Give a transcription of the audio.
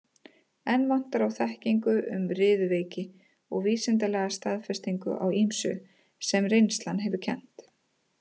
Enn vantar á þekkingu um riðuveiki og vísindalega staðfestingu á ýmsu, sem reynslan hefur kennt.